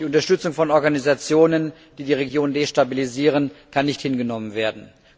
Die Unterstützung von Organisationen, die die Region destabilisieren, kann nicht hingenommen werden.